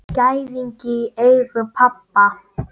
Gæðingi í eigu pabba.